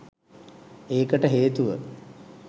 ඒකට හේතුව